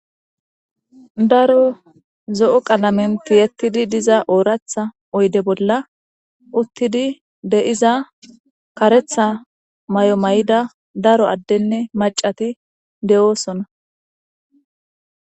Daro zo'o qalamenti yettidi diza ooratha oyde bolla uttidi deiza karetha may'o may'ida daro addenne macati de'oosona.